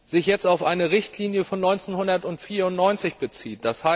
sich jetzt auf eine Richtlinie von 1994 bezieht.